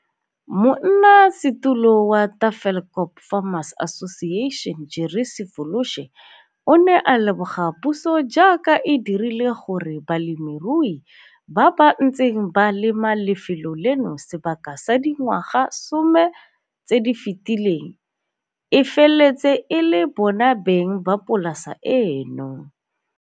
Monnasetulo wa Tafelkop Farmers Association Jerry Sefoloshe o ne a leboga puso jaaka e dirile gore balemirui ba ba ntseng ba lema lefelo leno sebaka sa dingwaga some tse di fetileng e feletse e le bona beng ba polasa eno.